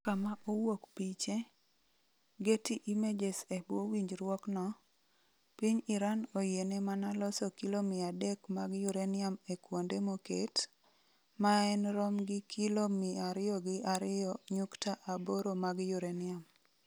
Kama owuok piche, Getty Images E bwo winjruokno, piny Iran oyiene mana loso kilo 300 mag uranium e kuonde moket, maen rom gi kilo 202.8 mag uranium.